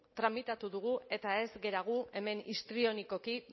tramitatu dugu eta ez gara gu hemen histrionikoki